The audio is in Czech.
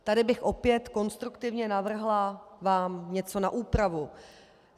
Tady bych opět konstruktivně navrhla vám něco na úpravu.